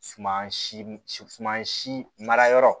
Suman si suman si mara yɔrɔ